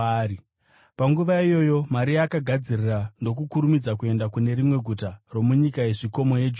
Panguva iyoyo Maria akagadzirira ndokukurumidza kuenda kune rimwe guta romunyika yezvikomo yeJudhea,